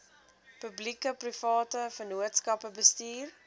publiekeprivate vennootskappe bestuur